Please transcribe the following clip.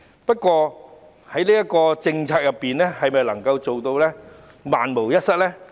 不過，這項政策能否做到萬無一失？